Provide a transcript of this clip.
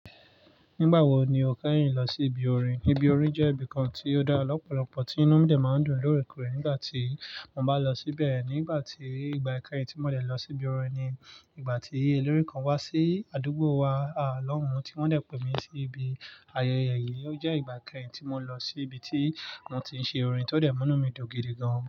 Nígbà wo ni o kẹ́yìn lọ sí ibi orin? Ibi orin jẹ́ ibi kan tí ó dá lọ́pọ̀lọpọ̀ tí inú mi dẹ̀ máa ń dùn lóòrèkóòrè nígbà tí mo bá lọ síbẹ̀. Nígbà tí, ìgbà kẹ́yìn tí mo dẹ̀ lọ sí ibi orin ni ìgbà tí ilèré kan wá sí àdúgbò wa, à lọ́hùn, tí wọ́n dẹ̀ pè mí sí ibi. Ayẹyẹ yìí ó jẹ́ ìgbà kẹ́yìn tí mo lọ sí ibi tí wọ́n ti ń ṣe orin, tó dà múna mi dùn gidi gan.